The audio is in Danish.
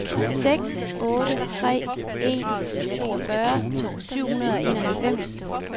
seks otte tre en toogfyrre syv hundrede og enoghalvfems